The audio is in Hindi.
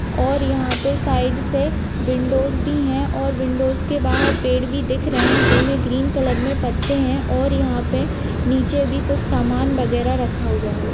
और यहाँ पे साइड से विंडोज भी है और विंडोज के बाहर पेड़ भी दिख रहे हैं जिनमें ग्रीन कलर में पत्ते हैं और यहाँ पे नीचे भी कुछ सामान वगैरा रखा हुआ है।